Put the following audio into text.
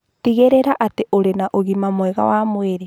Tigĩrĩra atĩ ũrĩ na ũgima mwega wa mwĩrĩ